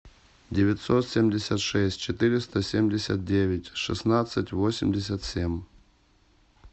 девятьсот семьдесят шесть четыреста семьдесят девять шестнадцать восемьдесят семь